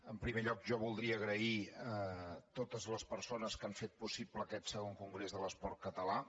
en primer lloc jo voldria donar les gràcies a totes les persones que han fet possible aquest ii congrés de l’esport català